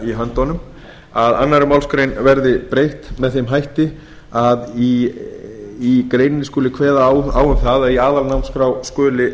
í höndunum að annarri málsgrein verði breytt með þeim hætti að í greininni skuli kveða á um það að í aðalnámskrá skuli